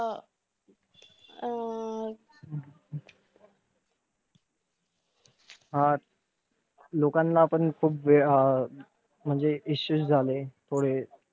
हा! लोकांना ना पण खूप वेळ हा म्हणजे issues झाले थोडे.